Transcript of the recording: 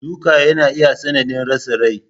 Duka yana iya sanadin rasa Rai.